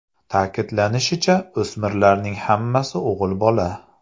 Ta’kidlanishicha, o‘smirlarning hammasi o‘g‘il bola.